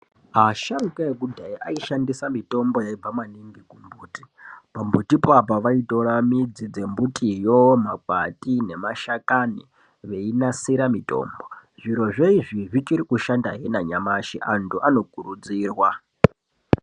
Asharuka ekudhaya aishandisa mitombo yaibva maningi kumbuti pambutipo apa vaitora midzi dzembutiyo makwati nemashakani veinasira mutombo zvirozvo izvi zvichiri kushandahe nanyamashi antu anokurudzirwa.